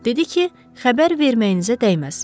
Dedi ki, xəbər verməyinizə dəyməz.